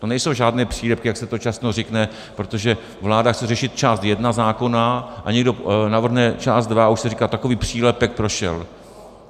To nejsou žádné přílepky, jak se to často řekne, protože vláda chce řešit část jedna zákona, a někdo navrhne část dva a už se říká - takový přílepek prošel.